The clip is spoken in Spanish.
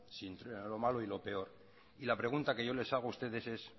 sino entre lo malo y lo peor y la pregunta que yo les hago a ustedes es